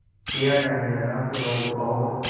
किया जाने लगा तो लोग और